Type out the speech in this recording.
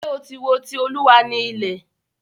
Ṣé o tí wo "Ti Olúwa ni ilẹ̀"?